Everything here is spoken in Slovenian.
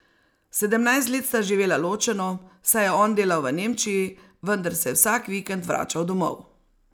Sedemnajst let sta živela ločeno, saj je on delal v Nemčiji, vendar se je vsak vikend vračal domov.